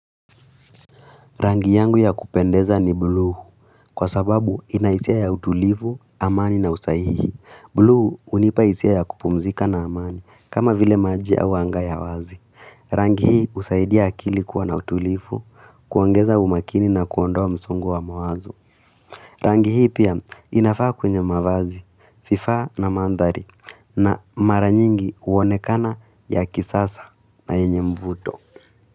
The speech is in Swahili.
Rangi yangu ya kupendeza ni buluu, kwa sababu inahisia ya utulifu, amani na usahihi. Bluu unipa hisia ya kupumzika na amani, kama vile majia wanga ya wazi. Rangi hii usaidia akili kuwa na utulifu, kuongeza umakini na kuondoa msongo wa mawazo. Rangi hii pia inafaa kwenye mavazi, vifaa na mandhari na mara nyingi uonekana ya kisasa na enye mvuto.